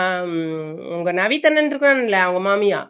அஹ் உங்க நவீத் அண்ணா இருக்கங்களா அவுங்க மாமியா